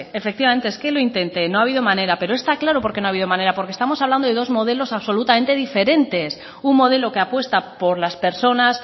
efectivamente es que lo intenté no ha habido manera pero está claro por qué no ha habido manera porque estamos hablando de dos modelos absolutamente diferentes un modelo que apuesta por las personas